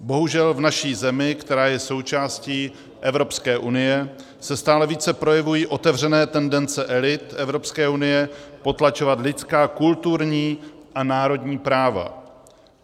Bohužel v naší zemi, která je součástí Evropské unie, se stále více projevují otevřené tendence elit Evropské unie potlačovat lidská, kulturní a národní práva.